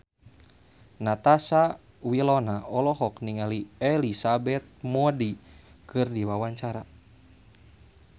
Natasha Wilona olohok ningali Elizabeth Moody keur diwawancara